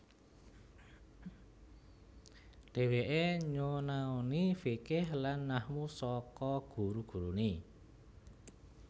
Dheweke nyonaoni fikih lan nahwu saka guru gurune